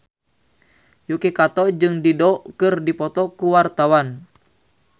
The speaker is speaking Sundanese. Yuki Kato jeung Dido keur dipoto ku wartawan